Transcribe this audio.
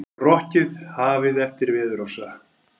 Rokkið hafið eftir veðurofsa